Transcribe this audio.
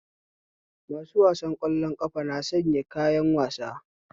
Masu wasan ƙwallon ƙafa na sayan kayan wasa